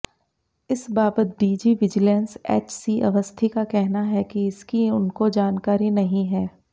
इस बाबत DG vigilance HC Awasthi का कहना है कि इसकी उनको जानकारी नहीं है